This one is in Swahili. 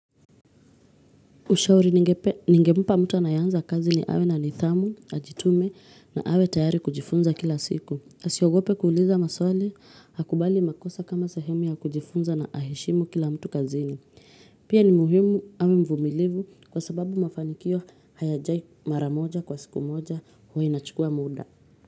Ushauri ningepe, ningempa mtu anaye anza kazi ni awe na nidhamu, ajitume na awe tayari kujifunza kila siku. Asiogope kuuliza maswali, akubali makosa kama sahemu ya kujifunza na aheshimu kila mtu kazini. Pia ni muhimu awe mvumilivu kwa sababu mafanikio hayaji mara moja kwa siku moja huwa inachukua muda.